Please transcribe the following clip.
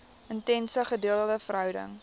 intense gedeelde verhouding